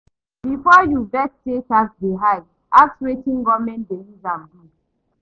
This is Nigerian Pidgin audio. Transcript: Before you vex say tax dey high, ask wetin government dey use am do.